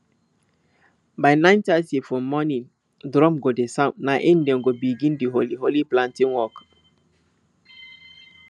by nine thirty for morning drum go dey sound na im dem go begin di holy holy planting walk